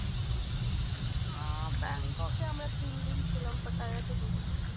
আহ ব্যাংককে আমরা তিনদিন ছিলাম। পাটায়াতে দুদিন